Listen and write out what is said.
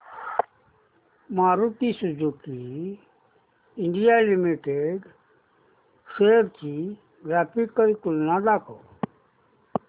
Maruti Suzuki India Limited shares ची graphical तुलना दाखव